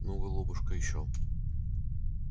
ну голубушка ещё